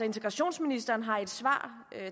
integrationsministeren har i et svar